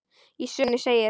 Í sögunni segir: